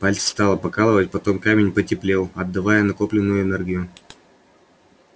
пальцы стало покалывать потом камень потеплел отдавая накопленную энергию